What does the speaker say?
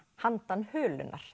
handan